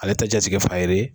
Ale tɛ jatigifaga yiri ye